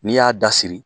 N'i y'a dasiri